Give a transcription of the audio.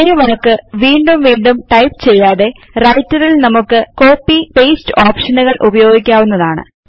ഒരേ വാക്ക് വീണ്ടും വീണ്ടും ടൈപ്പ് ചെയ്യാതെ Wrterൽ നമുക്ക് Copyഉം പാസ്തെ ഓപ്ഷനുകൾ ഉപയോഗിക്കാവുന്നതാണ്